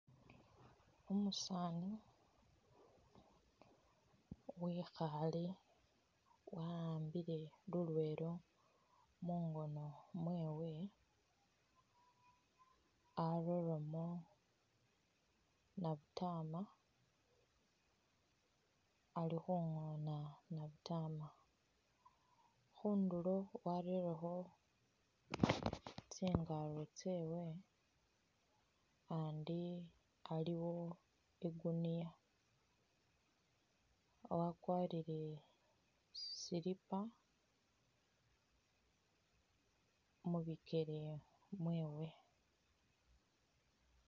Umusani wekhale wa'ambile lulwelo mungono mwewe areremo nabutama alikhungona nabutama khundulo warerekho tsingalo tsewe andi aliwo igunia wakwarile silipa mubikele mwewe